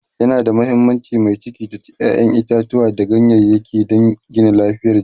yana da muhimmanci mai ciki ta ci ƴaƴan itatauwa da ganyayaki dan Gina lafiyar jiki